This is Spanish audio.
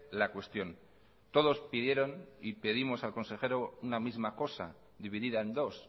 la cuestión todos pidieron y pedimos al consejero una misma cosa dividida en dos